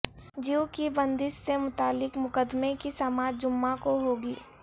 جیو کی بندش سے متعلق مقدمے کی سماعت جمعہ کو ہو گی